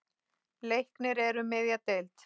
Leiknir er um miðja deild.